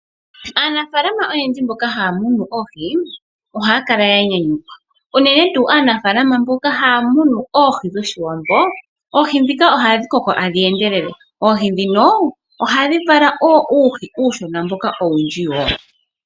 Aanafaalama oyendji mboka haya munu oohi ohaya kala ya nyanyukwa unene tuu aanafaalama mboka haya munu oohi dhoshiwambo. Oohi ndhika ohadhi koko tadhi endelele, oohi ndhino ohadhi vala uuhi uushona .